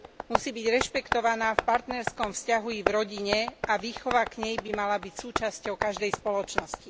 Musí byť rešpektovaná v partnerskom vzťahu i v rodine a výchova k nej by mala byť súčasťou každej spoločnosti.